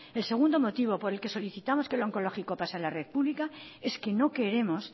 el segundo motivo por el que solicitamos que el onkologikoa pase a la red pública es que no queremos